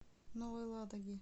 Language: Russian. новой ладоги